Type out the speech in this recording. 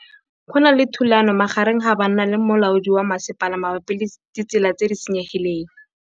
Go na le thulanô magareng ga banna le molaodi wa masepala mabapi le ditsela tse di senyegileng.